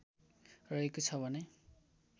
रहेको छ भने